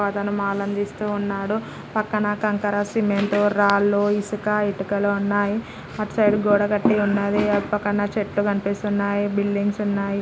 ఒక అతను మాలు అందిస్తూ ఉన్నాడు. పక్కన కంకర సిమెంట్ రాళ్లు ఇసుక ఇటుకలు ఉన్నాయి. అటు సైడు గోడ కట్టి ఉన్నది. అటు పక్కన చెట్లు కనిపిస్తున్నాయి. బిల్డింగ్స్ ఉన్నాయి.